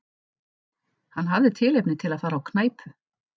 Hann hafði tilefni til að fara á knæpu.